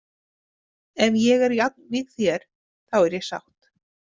Ef ég er jafnvíg þér, þá er ég sátt.